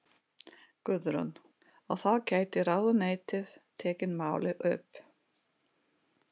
Guðrún: Og þá gæti ráðuneytið tekið málið upp?